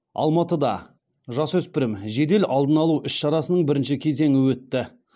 алматыда жасөспірім жедел алдын алу іс шарасының бірінші кезеңі өтті